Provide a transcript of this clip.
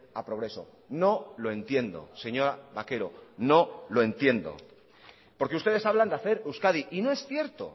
a progreso no lo entiendo señora baquero no lo entiendo porque ustedes hablan de hacer euskadi y no es cierto